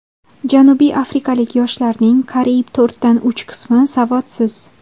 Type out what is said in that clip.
Janubiy afrikalik yoshlarning qariyb to‘rtdan uch qismi savodsiz.